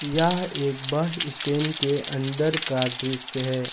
यह एक bus stand के अंदर का दृश्य है।